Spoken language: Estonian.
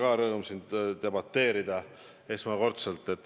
Mul on rõõm ka teiega siin esimest korda debateerida.